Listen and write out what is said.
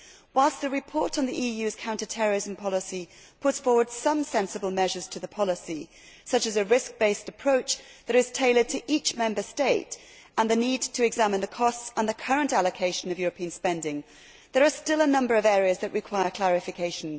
Whilst the report on the EU's counter terrorism policy puts forward some sensible measures to the policy, such as a risk based approach that is tailored to each Member State and the need to examine the costs and the current allocation of European spending, there are still a number of areas that require clarification.